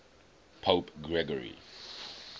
pope gregory